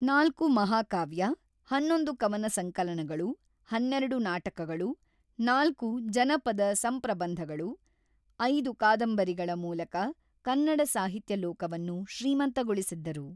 ನಾಲ್ಕು ಮಹಾಕಾವ್ಯ ಹನ್ನೊಂದು ಕವನ ಸಂಕಲನಗಳು, ಹನ್ನೆರಡು ನಾಟಕಗಳು, ನಾಲ್ಕು ಜನಪದ ಸಂಪ್ರಬಂಧಗಳು, ಐದು ಕಾದಂಬರಿಗಳ ಮೂಲಕ ಕನ್ನಡ ಸಾಹಿತ್ಯ ಲೋಕವನ್ನು ಶ್ರೀಮಂತಗೊಳಿಸಿದ್ದರು.